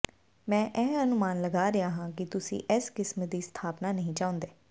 ਮੈਂ ਇਹ ਅਨੁਮਾਨ ਲਗਾ ਰਿਹਾ ਹਾਂ ਕਿ ਤੁਸੀਂ ਇਸ ਕਿਸਮ ਦੀ ਸਥਾਪਨਾ ਨਹੀਂ ਚਾਹੁੰਦੇ